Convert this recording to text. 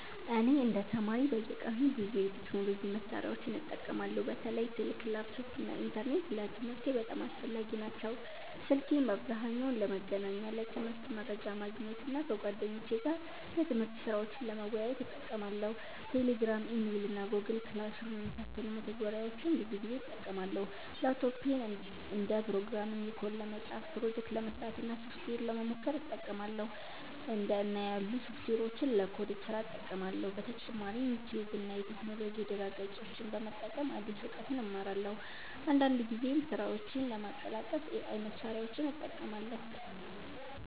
እኔ እንደ ተማሪ በየቀኑ ብዙ የቴክኖሎጂ መሳሪያዎችን እጠቀማለሁ። በተለይ ስልክ፣ ላፕቶፕ እና ኢንተርኔት ለትምህርቴ በጣም አስፈላጊ ናቸው። ስልኬን በአብዛኛው ለመገናኛ፣ ለትምህርት መረጃ ማግኘት እና ከጓደኞቼ ጋር የትምህርት ስራዎችን ለመወያየት እጠቀማለሁ። Telegram፣ Email እና Google Classroom የመሳሰሉ መተግበሪያዎችን ብዙ ጊዜ እጠቀማለሁ። ላፕቶፔን ደግሞ ፕሮግራሚንግ ኮድ ለመጻፍ፣ ፕሮጀክት ለመስራት እና ሶፍትዌር ለመሞከር እጠቀማለሁ። እንደ እና ያሉ ሶፍትዌሮችን ለኮድ ስራ እጠቀማለሁ። በተጨማሪም ዩቲዩብ እና የቴክኖሎጂ ድረ-ገጾችን በመጠቀም አዲስ እውቀት እማራለሁ። አንዳንድ ጊዜም ስራዎቼን ለማቀላጠፍ AI መሳሪያዎችን እጠቀማለሁ።